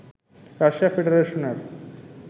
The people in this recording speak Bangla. রাশিয়া ফেডারেশনের